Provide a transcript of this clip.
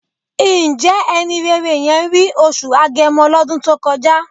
Ǹjẹ́ ẹni rere yẹn rí oṣù Agẹmọ lọ́dún tó kọjá?